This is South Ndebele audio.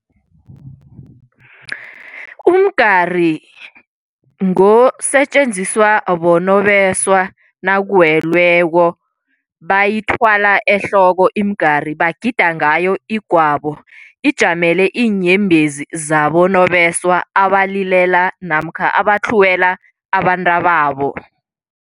Umgari ngosetjenziswa bonobesa nakuwelweko, bayithwala ehloko imigari. Bagida ngayo igwabo, ijamele iinyembezi zabonobeswa abalilela namkha abatlhuwela abantababo.